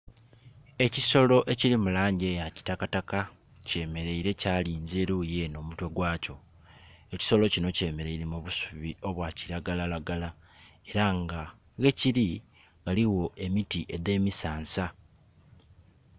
Ekisolo ekili mu langi eya kitakataka kyemeleire kyalinza eruyi eno omutwe gwakyo. Ekisolo kino kyemeleire mu busubi obwa kiragalalagala era nga ghekiri ghaligho emiti edhe misansa.